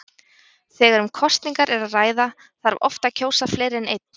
Þegar um kosningar er að ræða þarf oft að kjósa fleiri en einn.